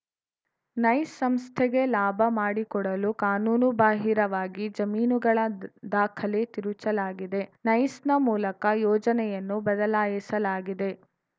nice ಸಂಸ್ಥೆಗೆ ಲಾಭ ಮಾಡಿಕೊಡಲು ಕಾನೂನು ಬಾಹಿರವಾಗಿ ಜಮೀನುಗಳ ದಾಖಲೆ ತಿರುಚಲಾಗಿದೆ ನೈಸ್‌ನ ಮೂಲಕ ಯೋಜನೆಯನ್ನು ಬದಲಾಯಿಸಲಾಗಿದೆ